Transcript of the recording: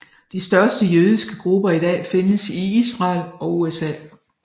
De største jødiske grupper i dag findes i Israel og USA